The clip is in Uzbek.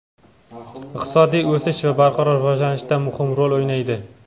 iqtisodiy o‘sish va barqaror rivojlanishda muhim rol o‘ynaydi.